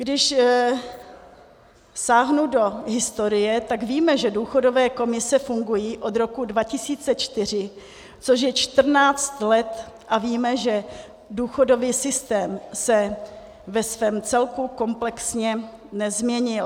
Když sáhnu do historie, tak víme, že důchodové komise fungují od roku 2004, což je 14 let, a víme, že důchodový systém se ve svém celku komplexně nezměnil.